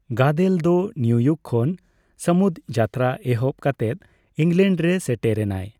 ᱜᱟᱫᱮᱞ ᱫᱚ ᱱᱤᱭᱩᱤᱭᱩᱠ ᱠᱷᱚᱱ ᱥᱚᱢᱩᱫᱡᱟᱛᱨᱟ ᱮᱦᱚᱵ ᱠᱟᱛᱮᱜ ᱤᱝᱞᱮᱰ ᱨᱮ ᱥᱮᱴᱮᱨ ᱮᱱᱟᱭ ᱾